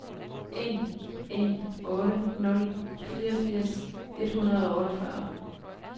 en en otte nul fireogfirs et hundrede og otteogfyrre